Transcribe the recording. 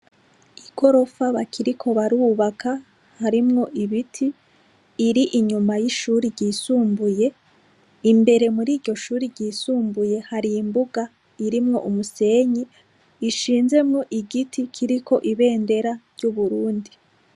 Igorofa bakiriko barubaka harimw' ibiti, ir' inyuma y' ishure ry isumbuye, imbere muriryo shure ry' isumbuye har' imbug' irimw' umuseny' ishinzemw' igiti kirik' ibendera ryu Burundi.